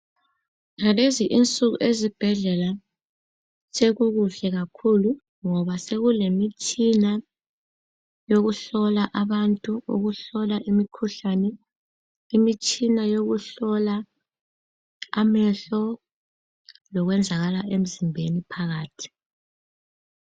Ngalezi insuku ezibhedlela sekukuhle kakhulu ngoba sekulemitshina yokuhlola abantu, ukuhlola imkhuhlane, imitshina yokuhlola amehlo lokwenzakala emzimbeni phakathi